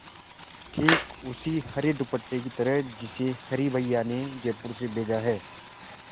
ठीक उस हरे दुपट्टे की तरह जिसे हरी भैया ने जयपुर से भेजा है